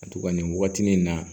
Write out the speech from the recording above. A tugunni wagatinin na